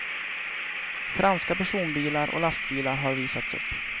Franska personbilar och lastbilar har visats upp.